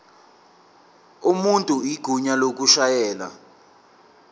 umuntu igunya lokushayela